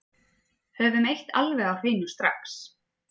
Höfum eitt alveg á hreinu strax